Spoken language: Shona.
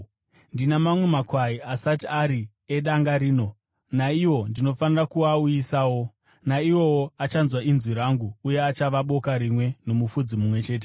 Ndina mamwe makwai asati ari edanga rino. Naiwo ndinofanira kuauyisawo. Naiwowo achanzwa inzwi rangu, uye achava boka rimwe nomufudzi mumwe chete.